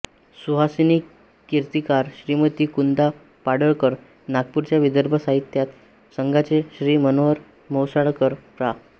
सुहासिनी कीर्तीकर श्रीमती कुंदा पडळकर नागपूरच्या विदर्भ साहित्य संघाचे श्री मनोहर म्हैसाळकर प्रा